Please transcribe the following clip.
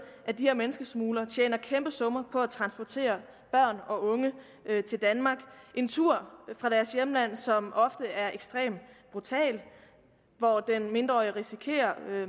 at de her menneskesmuglere tjener kæmpe summer på at transportere børn og unge til danmark en tur fra deres hjemland som ofte er ekstremt brutal og hvor den mindreårig risikerer